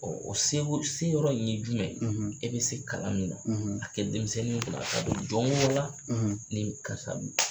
Ɔ o se ko se yɔrɔ in ye jumɛn ye e bɛ se kalan min na a kɛ denmisɛnni kunna a ka don jɔn k'ala ne bi karisa bolo